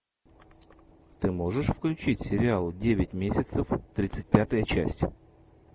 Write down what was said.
ты можешь включить сериал девять месяцев тридцать пятая часть